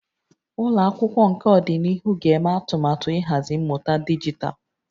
Ụlọ akwụkwọ nke ọdịnihu ga-eme atụmatụ ịhazi mmụta dijitalụ